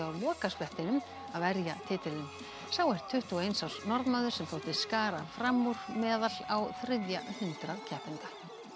lokasprettinum að verja titilinn sá er tuttugu og eins árs Norðmaður sem þótti skara fram úr meðal á þriðja hundrað keppenda